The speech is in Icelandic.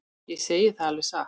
Ég segi það alveg satt.